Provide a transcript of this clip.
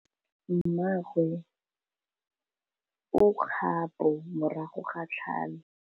Mmagwe o kgapô morago ga tlhalô.